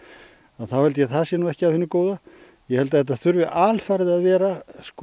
þá held ég að það sé nú ekki af hinu góða ég held að þetta þurfi alfarið að vera